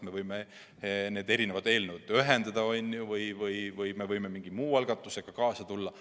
Me võime need eelnõud ühendada või me võime mingi muu algatusega kaasa tulla.